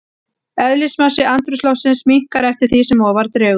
Eðlismassi andrúmsloftsins minnkar eftir því sem ofar dregur.